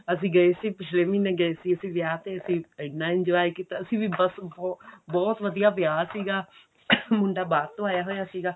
ਅਸੀਂ ਗਏ ਸੀਗੇ ਪਿਛਲੇ ਮਹੀਨੇ ਗਏ ਸੀ ਅਸੀਂ ਵਿਆਹ ਤੇ ਇੰਨਾ enjoy ਕੀਤਾ ਅਸੀਂ ਵੀ ਬੱਸ ਬਹੁਤ ਵਧੀਆ ਵਿਆਹ ਸੀਗਾ